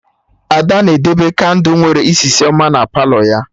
Ada na-edebe kandụ nwere isisi ọma na Palọ ya